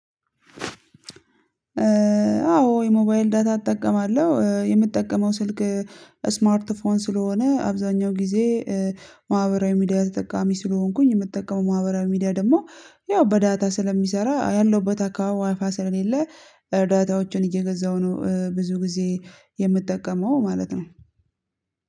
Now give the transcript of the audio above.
አዎ የሞባይል ዳታ እተቀማለው የምተቀመው ስልክ ደሞ ስማርት ፎን ስለሆነ አብዛኛው ጊዘ ማህበራዊ ሚዲአ ተጠቃሚ ስለሆንኩኝ የምጠቀመው ማህበራዊ ሚዲአ ደግሞ ያው በዳታ ስለሚሰራ ያለሁበት ቦታ ደግሞ ዊፊ ስለማይሰራ ዳታዎችህን እየገዛው ነው። ብዙ ጊዘ የምጠቀመው ማለት ነው